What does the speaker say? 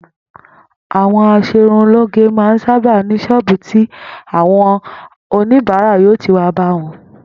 Àwo̩n as̩erunlóge máa ń sábà ní s̩ó̩ò̩bù tí àwo̩n oníbàárà yóò ti wá bá wo̩n